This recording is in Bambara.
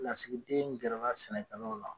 Lasigi den gɛrala sɛnɛkɛlaw la